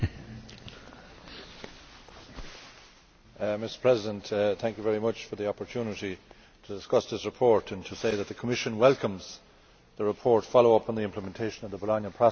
Mr President, thank you for the opportunity to discuss this report and to say that the Commission welcomes the report ʽFollow up on the implementation of the Bologna Processʼ and would like to congratulate the rapporteur on the result.